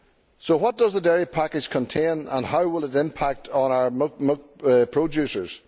So what does the dairy package contain and how will it impact on our milk producers?